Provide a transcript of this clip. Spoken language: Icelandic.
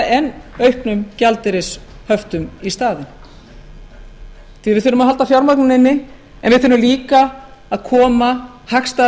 en auknum gjaldeyrishöftum í staðin við þurfum að halda fjármagninu inni en við þurfum líka að koma hagstæðara